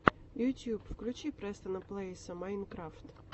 ютуб включи престона плэйса майнкрафт